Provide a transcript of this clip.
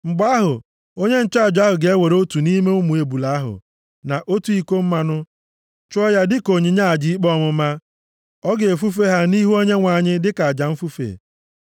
“Mgbe ahụ, onye nchụaja ahụ ga-ewere otu nʼime ụmụ ebule ahụ, na otu iko mmanụ chụọ ya dịka onyinye aja ikpe ọmụma. Ọ ga-efufe ha nʼihu Onyenwe anyị dịka aja mfufe.